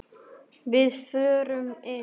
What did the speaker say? Við förum inn!